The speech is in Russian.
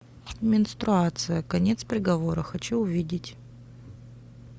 менструация конец приговора хочу увидеть